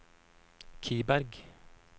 Kiberg